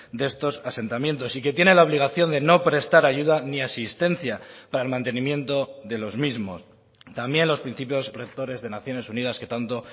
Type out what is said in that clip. de estos asentamientos y que tiene la obligación de no prestar ayuda ni asistencia para el mantenimiento de los mismos también los principios rectores de naciones unidas que tanto